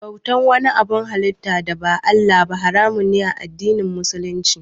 Bautan wani abun halitta da ba Allah ba haramun ne a addinin Musulunci.